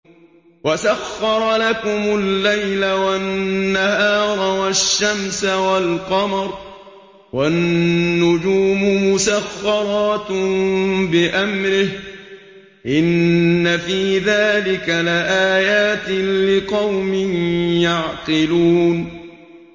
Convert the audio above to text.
وَسَخَّرَ لَكُمُ اللَّيْلَ وَالنَّهَارَ وَالشَّمْسَ وَالْقَمَرَ ۖ وَالنُّجُومُ مُسَخَّرَاتٌ بِأَمْرِهِ ۗ إِنَّ فِي ذَٰلِكَ لَآيَاتٍ لِّقَوْمٍ يَعْقِلُونَ